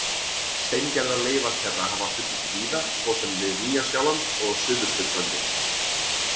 Steingerðar leifar þeirra hafa fundist víða, svo sem við Nýja-Sjáland og Suðurskautslandið.